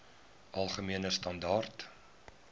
algemene standaar